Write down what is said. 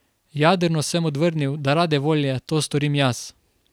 Jadrno sem odvrnil, da rade volje to storim jaz.